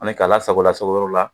Ani k'a lasago lasagoyɔrɔ la